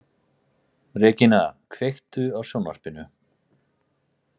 Regína, kveiktu á sjónvarpinu.